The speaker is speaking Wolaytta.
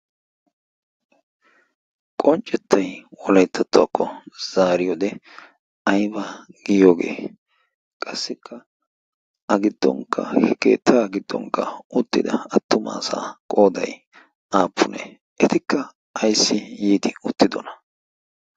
qonccettay wolayttattuwaakko zaariyoode ayba giyoogee qassikka a giddonkka he keettaa giddonkka uttida attumaasaa qooday aappunee etikka ayssi yiidi uttidona